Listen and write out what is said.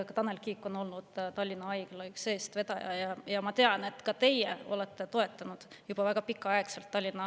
Tanel Kiik on olnud üks Tallinna Haigla projekti eestvedaja ja ma tean, et ka teie olete seda projekti juba väga pikka aega toetanud.